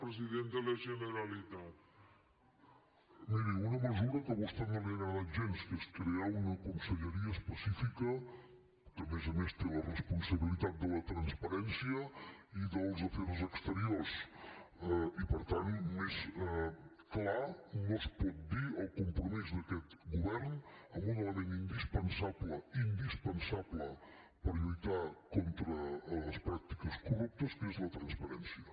miri una mesura que a vostè no li ha agradat gens que és crear una conselleria específica que a més a més té la responsabilitat de la transparència i dels afers exteriors i per tant més clar no es pot dir el compromís d’aquest govern amb un element indispensable indispensable per lluitar contra les pràctiques corruptes que és la transparència